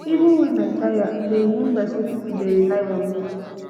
even wen i tire i dey rememba sey pipo dey rely on on me